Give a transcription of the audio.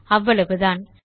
அவ்வளவுதான்